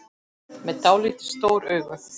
Með dáldið stór augu.